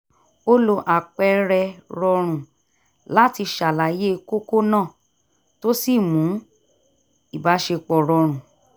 ó lo àpẹẹrẹ rọrùn láti ṣàlàyé kókó náà tó sì mú ìbáṣepọ̀ rọrùn